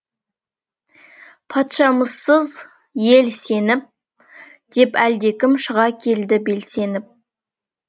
патшамызсыз ел сеніп деп әлдекім шыға келді белсеніп